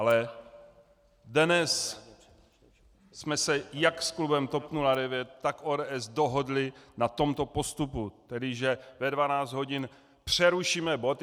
Ale dnes jsme se jak s klubem TOP 09 tak ODS dohodli na tomto postupu, tedy že ve 12 hodin přerušíme bod.